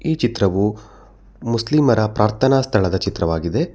ಈ ಚಿತ್ರವು ಮುಸ್ಲಿಮರ ಪ್ರಾರ್ಥನಾ ಸ್ಥಳದ ಚಿತ್ರವಾಗಿದೆ.